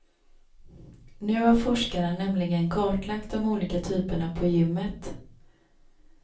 Nu har forskarna nämligen kartlagt de olika typerna på gymmet.